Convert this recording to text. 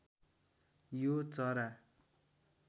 यो चरा